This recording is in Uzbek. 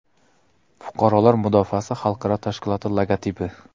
Fuqarolar mudofaasi xalqaro tashkiloti logotipi.